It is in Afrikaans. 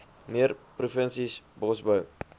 meer provinsies bosbou